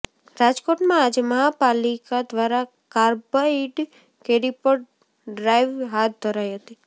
રાજકોટમાં આજે મહાપાલિકા દ્વારા કાર્બાઈડ કેરી પર ડ્રાઈવ હાથ ધરાઈ હતી